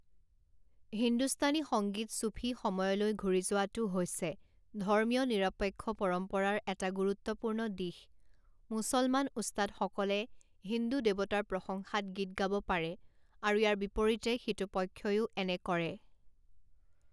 হিন্দুস্তানী সংগীত ছুফী সময়লৈ ঘূৰি যোৱাটো হৈছে ধৰ্মীয় নিৰপেক্ষ পৰম্পৰাৰ এটা গুৰুত্বপূৰ্ণ দিশ মুছলমান ওস্তাদসকলে হিন্দু দেৱতাৰ প্ৰশংসাত গীত গাব পাৰে আৰু ইয়াৰ বিপৰীতে সিটো পক্ষইও এনে কৰে।